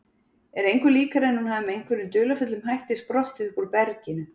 Er engu líkara en hún hafi með einhverjum dularfullum hætti sprottið uppúr berginu.